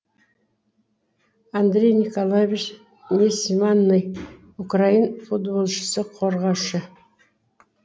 андрей николаевич несманный украин футболшысы қорғашы